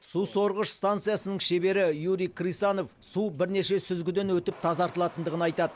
су сорғыш станциясының шебері юрий крысанов су бірнеше сүзгіден өтіп тазартылатындығын айтады